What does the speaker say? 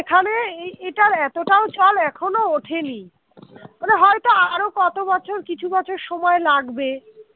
এ এ এটার এতটাও চল এখনো ওঠেনি। মানে হয়তো আরো কত বছর কিছু বছর সময় লাগবে